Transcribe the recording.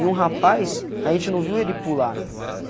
E um rapaz, a gente não viu ele pular, meu.